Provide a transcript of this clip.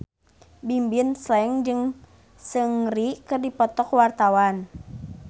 Bimbim Slank jeung Seungri keur dipoto ku wartawan